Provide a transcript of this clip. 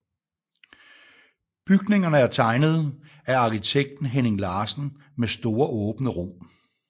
Bygningerne er er tegnet af arkitekten Henning Larsen med store åbne rum